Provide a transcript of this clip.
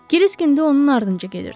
Kırisk indi onun ardınca gedirdi.